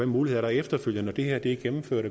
muligheder der er efterfølgende når det her er gennemført